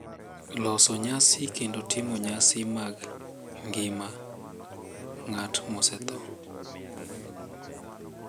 loso nyasi kendo timo nyasi mag ngima ng’at mosetho.